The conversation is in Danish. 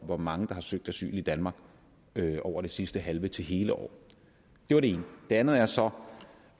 hvor mange der har søgt asyl i danmark over det sidste halve til hele år det er det ene det andet er så